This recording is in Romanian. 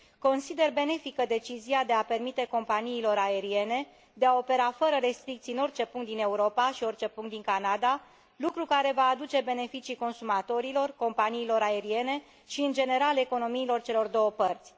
Consider benefică decizia de a permite companiilor aeriene de a opera fără restricții în orice punct din Europa și orice punct din Canada, lucru care va aduce beneficii consumatorilor, companiilor aeriene și, în general, economiilor celor două părți.